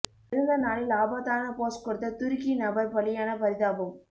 பிறந்த நாளில் ஆபத்தான போஸ் கொடுத்த துருக்கி நபர் பலியான பரிதாபம்